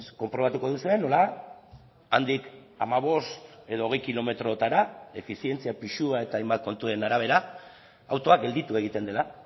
konprobatuko duzue nola handik hamabost edo hogei kilometrotara efizientzia pisua eta hainbat kontuen arabera autoa gelditu egiten dela